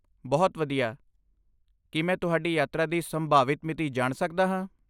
ਬਹੁਤ ਵਧੀਆ! ਕੀ ਮੈਂ ਤੁਹਾਡੀ ਯਾਤਰਾ ਦੀ ਸੰਭਾਵਿਤ ਮਿਤੀ ਜਾਣ ਸਕਦਾ ਹਾਂ?